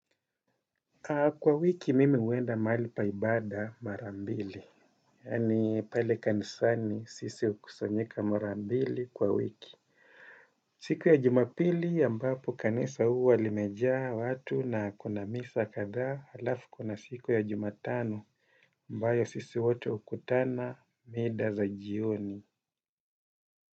Kwa wiki mimi huenda mahali paibada marambili, yani pale kanisani sisi ukusanyika marambili kwa wiki. Siku ya jumapili ambapo kanisa huwa limejaa watu na kuna misa kadha alafu kuna siku ya jumatano ambayo sisi wote hukutana mida za jioni.